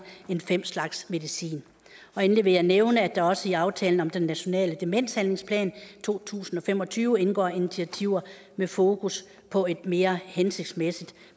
end fem slags medicin endelig vil jeg nævne at der også i aftalen om den nationale demenshandlingsplan to tusind og fem og tyve indgår initiativer med fokus på et mere hensigtsmæssigt